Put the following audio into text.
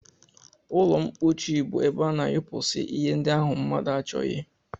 Ụlọmkpochi bụ ebe a na-anyụpụsị ihe ndị ahụ mmadụ achọghị